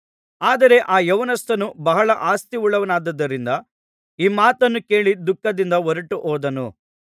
ಆದರೆ ಆ ಯೌವನಸ್ಥನು ಬಹಳ ಆಸ್ತಿಯುಳ್ಳವನಾಗಿದ್ದುದರಿಂದ ಈ ಮಾತನ್ನು ಕೇಳಿ ದುಃಖದಿಂದ ಹೊರಟುಹೋದನು